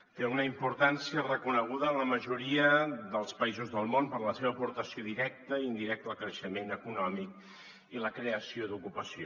té una importància reconeguda en la majoria dels països del món per la seva aportació directa i indirecta al creixement econòmic i la creació d’ocupació